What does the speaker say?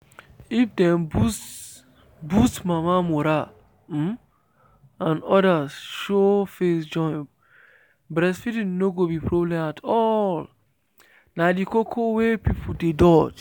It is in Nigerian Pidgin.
if dem boost boost mama morale um and others show face join breastfeeding no go be problem at all. na the koko wey people dey dodge.